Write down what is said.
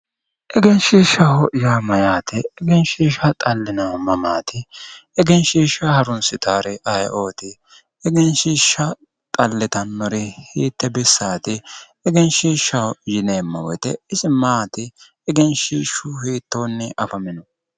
Egenshishshaho yaa mayate, egenshishsha xalinannihu mamati ,egenshishsha harrunsittanori ayeeoti, egenshishsha xalittanori hiitte bissati, egenshishshaho yineemmo woyte isi maati, egenshishshu hiittoni afamino.